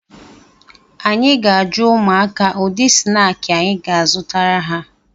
Anyị ga-ajụ ụmụaka ụdị snaakị anyị ga-azụtara ha